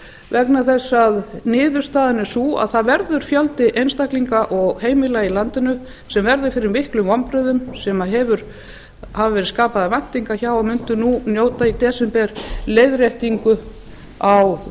vegna þess að niðurstaðan er sú að það verður fjöldi einstaklinga og heimila í landinu sem verður fyrir miklum vonbrigðum sem hafa verið skapaðar væntingar hjá að mundu nú í desember njóta leiðréttingu á